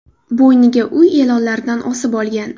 Bo‘yniga uy e’lonlaridan osib olgan.